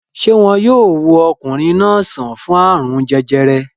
Ṣé wọn yóò wo ọkùnrin náà sàn fún àrùn jẹjẹrẹ?